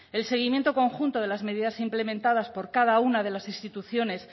el seguimiento conjunto de las medidas implementadas por cada una de las instituciones